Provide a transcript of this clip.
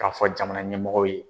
K'a fɔ jamana ɲɛmɔgɔw ye.